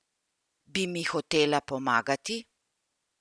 Bi mi hotela pomagati?